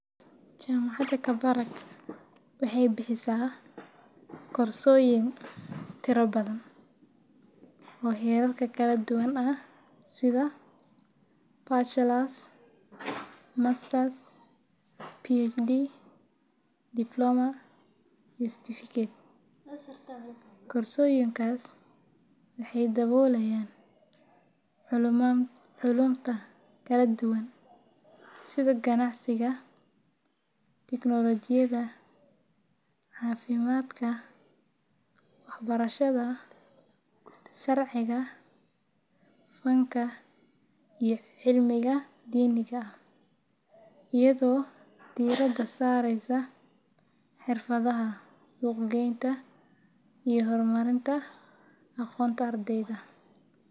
Jaamacadda Kabarak waxay bixisaa koorsooyin tiro badan oo heerarka kala duwan ah sida Bachelor's, Master's, PhD, diploma iyo certificate. Koorsooyinkaas waxay daboolayaan culuumta kala duwan sida ganacsiga, tiknoolajiyada, caafimaadka, waxbarashada, sharciga, fanka, iyo cilmiga diiniga ah, iyadoo diiradda saareysa xirfadaha suuq-geynta iyo horumarinta aqoonta ardayda.